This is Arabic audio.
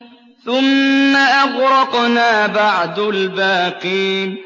ثُمَّ أَغْرَقْنَا بَعْدُ الْبَاقِينَ